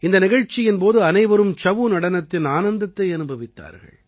இந்த நிகழ்ச்சியின் போது அனைவரும் சஉ நடனத்தின் ஆனந்தத்தை அனுபவித்தார்கள்